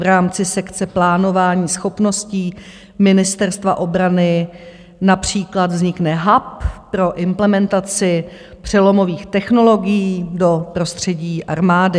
V rámci sekce plánování schopností Ministerstva obrany například vznikne hub pro implementaci přelomových technologií do prostředí armády.